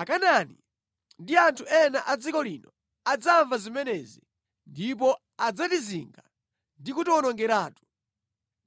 Akanaani ndi anthu ena a dziko lino adzamva zimenezi ndipo adzatizinga ndi kutiwonongeratu.